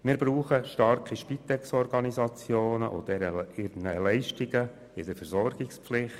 Wir benötigen starke Spitexorganisationen und ihre Leistungen in der Versorgungspflicht.